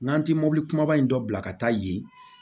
N'an timin kumaba in dɔ bila ka taa yen